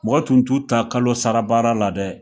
Mɔgɔ tun t'u ta kalo sara baa la dɛ!